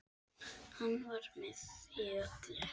Hann var með í öllu.